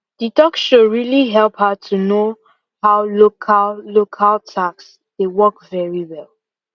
the talk show really help her to know how local local tax dey work very well